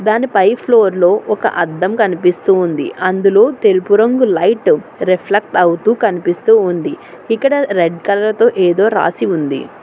దానిపై ఫ్లోర్లో ఒక అద్దం కనిపిస్తూ ఉంది అందులో తెలుపు రంగు లైట్ రిఫ్లెక్ట్ అవుతూ కనిపిస్తూ ఉంది ఇక్కడ రెడ్ కలర్తో ఏదో రాసి ఉంది.